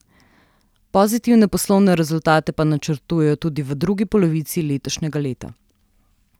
Pozitivne poslovne rezultate pa načrtujejo tudi v drugi polovici letošnjega leta.